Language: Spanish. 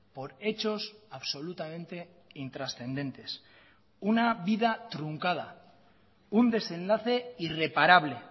por hechos absolutamente intrascendentes una vida truncada un desenlace irreparable